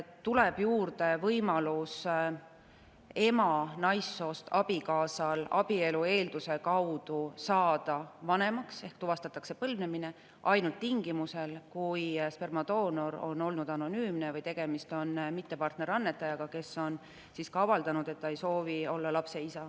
Tuleb juurde võimalus, et ema naissoost abikaasa saab abielu eelduse kaudu vanemaks ehk tuvastatakse põlvnemine, ainult tingimusel, kui spermadoonor on olnud anonüümne või tegemist on mittepartnerist annetajaga, kes on avaldanud, et ta ei soovi olla lapse isa.